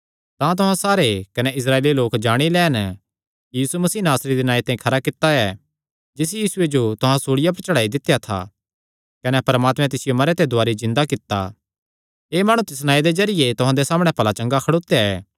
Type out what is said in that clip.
तां तुहां सारे कने इस्राएली लोक जाणी लैन कि यीशु मसीह नासरी दे नांऐ ते खरा कित्ता ऐ जिस यीशुये जो तुहां सूल़िया पर चढ़ाई दित्या था कने परमात्मैं तिसियो मरेयां ते दुवारी जिन्दा कित्ता एह़ माणु तिस नांऐ दे जरिये तुहां दे सामणै भला चंगा खड़ोत्या ऐ